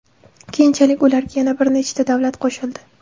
Keyinchalik ularga yana bir nechta davlat qo‘shildi.